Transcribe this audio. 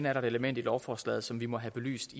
er et element i lovforslaget som vi må have belyst